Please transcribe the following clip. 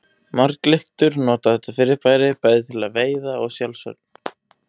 Marglyttur nota þetta fyrirbæri bæði til veiða og í sjálfsvörn.